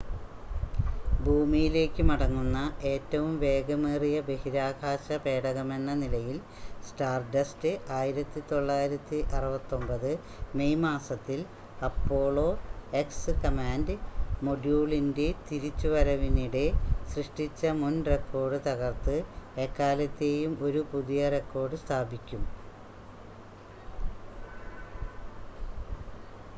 ഭൂമിയിലേക്ക് മടങ്ങുന്ന ഏറ്റവും വേഗമേറിയ ബഹിരാകാശ പേടകമെന്ന നിലയിൽ സ്റ്റാർഡസ്റ്റ് 1969 മെയ് മാസത്തിൽ അപ്പോളോ എക്സ് കമാൻഡ് മൊഡ്യൂളിൻ്റെ തിരിച്ചുവരവിനിടെ സൃഷ്ടിച്ച മുൻ റെക്കോർഡ് തകർത്ത് എക്കാലത്തെയും ഒരു പുതിയ റെക്കോർഡ് സ്ഥാപിക്കും